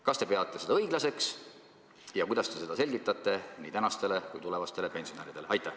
Kas te peate seda õiglaseks ja kuidas te seda selgitate nii praegustele kui tulevastele pensionäridele?